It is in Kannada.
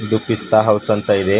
ಇದು ಪಿಸ್ತಾ ಹೌಸ್ ಅಂತ ಇದೆ.